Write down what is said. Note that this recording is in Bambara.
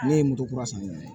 Ne ye moto kura san ne ye